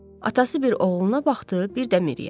Atası bir oğluna baxdı, bir də Miriyə.